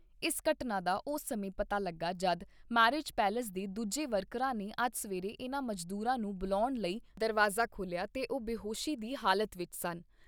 ਇਸ ਘਟਨਾ ਦਾ ਉਸ ਸਮੇਂ ਪਤਾ ਲੱਗਾ ਜਦ ਮੈਰਿਜ ਪੈਲਿਸ ਦੇ ਦੂਜੇ ਵਰਕਰਾਂ ਨੇ ਅੱਜ ਸਵੇਰੇ ਇਨ੍ਹਾਂ ਮਜ਼ਦੂਰਾਂ ਨੂੰ ਬੁਲਾਉਣ ਲਈ ਦਰਵਾਜ਼ਾ ਖੋਲ੍ਹਿਆ ਤੇ ਉਹ ਬੇਹੋਸ਼ੀ ਦੀ ਹਾਲਤ ਵਿਚ ਸਨ।